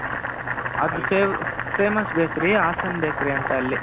ಅದು famous bakery Hassan bakery ಅಂತ ಅಲ್ಲಿ .